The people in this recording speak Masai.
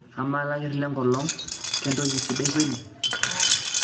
amaa lakirr le nkolong kentoki sidai kweli